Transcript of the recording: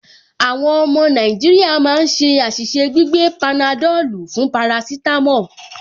Àwọn ọmọ Nàìjíríà máa ń ṣe àṣìṣe gbígbé panadọ́lù fún parasítámọ̀